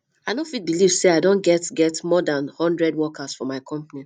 i no fit believe say i don get get more dan hundred workers for my company